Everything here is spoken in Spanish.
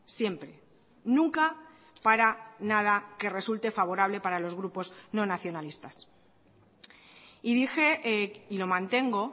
siempre nunca para nada que resulte favorable para los grupos no nacionalistas y dije y lo mantengo